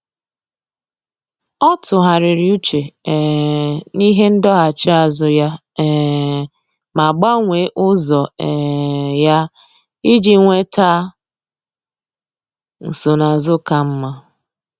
Ọ́ tụ́ghàrị̀rị̀ úchè um n’íhé ndọghachi azụ ya um ma gbanwee ụ́zọ́ um ya iji nwéta nsonaazụ ka mma.